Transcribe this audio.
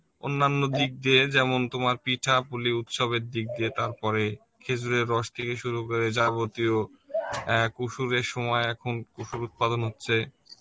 অন্যান্য দিক দিয়ে যেমন তোমার পিঠা পুলি উৎসবের দিক দিয়ে তারপরে খেজুরের রস দিয়ে শুরু করে যাবতীয় অ্যাঁ সময় এখন উত্পাদন হচ্ছে